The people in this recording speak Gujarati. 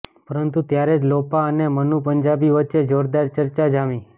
પરંતુ ત્યારે જ લોપા અને મનુ પંજાબી વચ્ચે જોરદાર ચર્ચા જામી